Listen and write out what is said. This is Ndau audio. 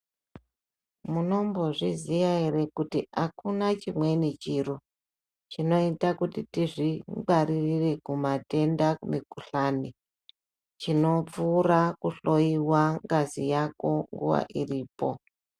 Munombozviziya ere kuti akuna chimweni chiro chinoita kuti tizvingwarire kumatenda emukhuhlani chinopfuura kuhloyiwa ngazi yako nguwa iripo